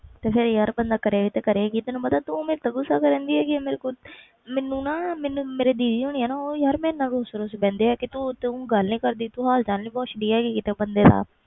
ਤੇ ਫਿਰ ਬੰਦਾ ਕਰੇ ਵੀ ਤੇ ਕਿ ਕਰੇ ਪਤਾ ਤੂੰ ਮੇਰੇ ਤੇ ਗੁੱਸਾ ਕਰਨ ਦੀ ਮੈਨੂੰ ਨਾ ਮੇਰੇ ਦੀਦੀ ਹੈਗੇ ਨਾ ਉਹ ਵੀ ਰੁੱਸ ਰੁੱਸ ਬੈਠਦੇ ਨੇ ਕਿ ਤੂੰ ਸਾਡੇ ਗੱਲ ਨਹੀਂ ਕਰਦੀ